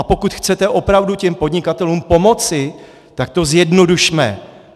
A pokud chcete opravdu těm podnikatelům pomoci, tak to zjednodušme.